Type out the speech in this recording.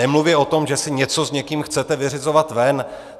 Nemluvě o tom, že si něco s někým chcete vyřizovat ven.